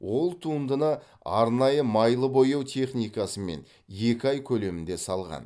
ол туындыны арнайы майлы бояу техникасымен екі ай көлемінде салған